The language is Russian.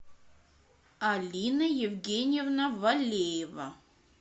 алина евгеньевна валеева